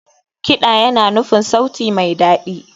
Kiɗa yana nufin sauti mai daɗi.